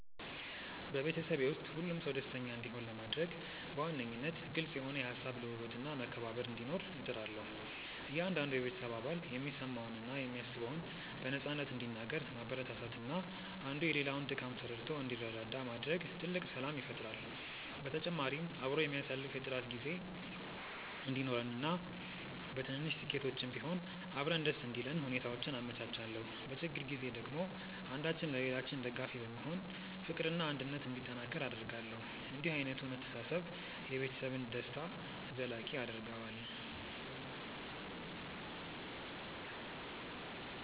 በቤተሰቤ ውስጥ ሁሉም ሰው ደስተኛ እንዲሆን ለማድረግ በዋነኝነት ግልጽ የሆነ የሃሳብ ልውውጥና መከባበር እንዲኖር እጥራለሁ። እያንዳንዱ የቤተሰብ አባል የሚሰማውንና የሚያስበውን በነፃነት እንዲናገር ማበረታታትና አንዱ የሌላውን ድካም ተረድቶ እንዲረዳዳ ማድረግ ትልቅ ሰላም ይፈጥራል። በተጨማሪም አብሮ የሚያሳልፍ የጥራት ጊዜ እንዲኖረንና በትንንሽ ስኬቶችም ቢሆን አብረን ደስ እንዲለን ሁኔታዎችን አመቻቻለሁ። በችግር ጊዜ ደግሞ አንዳችን ለሌላችን ደጋፊ በመሆን ፍቅርና አንድነት እንዲጠናከር አደርጋለሁ። እንዲህ ዓይነቱ መተሳሰብ የቤተሰብን ደስታ ዘላቂ ያደርገዋል።